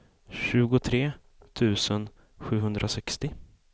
tjugotre tusen sjuhundrasextio